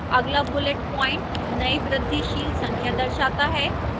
अगला bullet point नई वृद्धिशील संख्या दर्शाता है